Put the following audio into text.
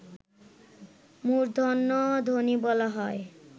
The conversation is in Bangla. মূর্ধন্যধ্বনি বলা হয়